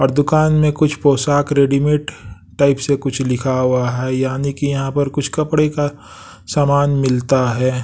और दुकान में कुछ पोशाक रेडीमेड टाइप से कुछ लिखा हुआ है यानी कि यहाँ पर कुछ कपड़े का सामान मिलता है।